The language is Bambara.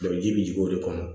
ji bɛ jigin o de kɔnɔ